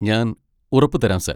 ഞാൻ ഉറപ്പു തരാം സാർ.